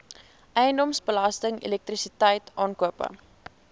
eiendomsbelasting elektrisiteit aankope